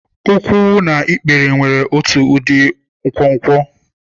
Ụkwụ na ikpere nwere otu ụdị nkwonkwo.